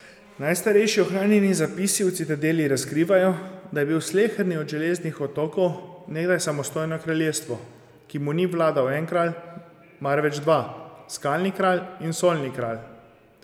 Najstarejši ohranjeni zapisi v Citadeli razkrivajo, da je bil sleherni od Železnih otokov nekdaj samostojno kraljestvo, ki mu ni vladal en kralj, marveč dva, skalni kralj in solni kralj.